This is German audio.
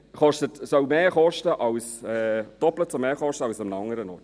Dies soll doppelt so viel kosten als an einem anderen Ort.